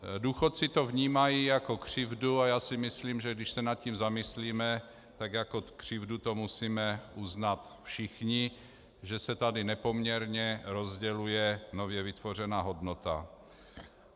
Důchodci to vnímají jako křivdu a já si myslím, že když se nad tím zamyslíme, tak jako křivdu to musíme uznat všichni, že se tady nepoměrně rozděluje nově vytvořená hodnota.